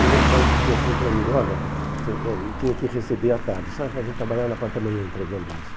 E o meu pai dizia assim para mim, olha, você eh tinha que receber à tarde, só a gente trabalhava na parte da manhã entregando isso.